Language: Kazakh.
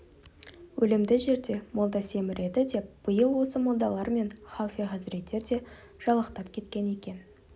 өлімді жерде молда семіреді деп биыл осы молдалар мен халфе хазіреттер де жалақтап кеткен екен